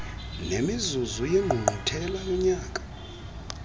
nemizuzu yengqungquthela yonyaka